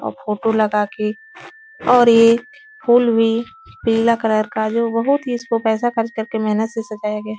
और फ़ोटो लगाके और ये फूल भी पीला कलर का जो बहोत ही इसको पैसा खर्च करके मेहनत से सजाया गया है।